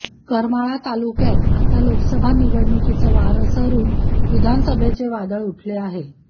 करमाळा तालुक्यात आता लोकसभा निवडणुकीच वारं सरून विधानसभेचे वादळ उठले आहे